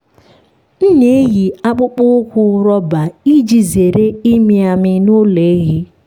m na-eyi akpụkpọ ụkwụ rọba iji zere ịmị amị n’ụlọ ehi.